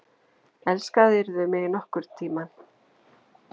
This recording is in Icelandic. Elskaðirðu mig nokkurn tíma?